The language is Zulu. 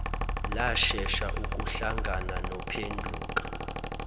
lashesha ukuhlangana nophenduka